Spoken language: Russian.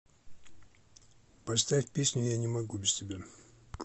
поставь песню я не могу без тебя